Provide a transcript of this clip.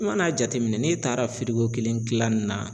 I mana jateminɛ n'e taara firiko kelen kilan ni na.